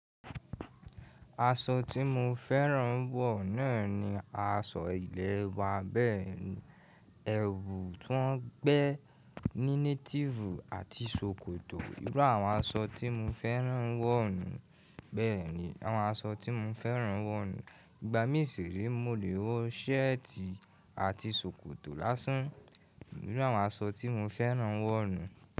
Asọ tí mo fẹ́ràn wọ̀ náà ni asọ ilẹ̀ wa bẹ́ẹ̀ni. Ẹwù ti wọn gbẹ ní native àti ṣòkòtò, ìró àwọn aṣọ tí mo fẹ́ràn wọ̀ nu. Bẹ́ẹ̀ni, àwọn aṣọ tí mo fẹ́ràn wọ̀ ni. Ìgbà mísìre mo lè wọ ṣẹ́ẹ̀tì àti ṣòkòtò lásán, ìru àwọn aṣọ tí mo fẹ́ràn wọ̀ nu.